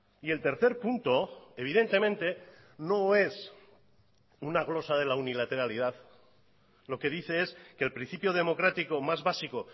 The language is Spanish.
y el tercer punto evidentemente no es una glosa de la unilateralidad lo que dice es que el principio democrático más básico